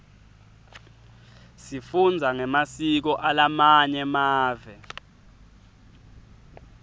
sifundza ngemasiko alamanye mave